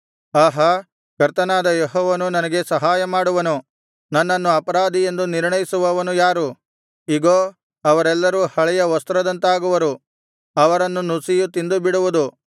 ಆಹಾ ಕರ್ತನಾದ ಯೆಹೋವನು ನನಗೆ ಸಹಾಯಮಾಡುವನು ನನ್ನನ್ನು ಅಪರಾಧಿ ಎಂದು ನಿರ್ಣಯಿಸುವವನು ಯಾರು ಇಗೋ ಅವರೆಲ್ಲರೂ ಹಳೆಯ ವಸ್ತ್ರದಂತಾಗುವರು ಅವರನ್ನು ನುಸಿಯು ತಿಂದುಬಿಡುವುದು